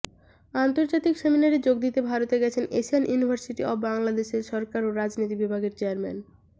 আন্তর্জাতিক সেমিনারে যোগ দিতে ভারত গেছেন এশিয়ান ইউনিভার্সিটি অব বাংলাদেশের সরকার ও রাজনীতি বিভাগের চেয়ারম্যান